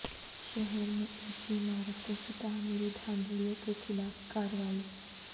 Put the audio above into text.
شہر میں اونچی عمارتوں کی تعمیری دھاندلیوں کیخلاف کارروائی